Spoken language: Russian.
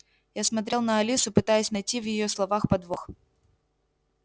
я смотрел на алису пытаясь найти в её словах подвох